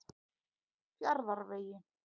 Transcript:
Fjarðarvegi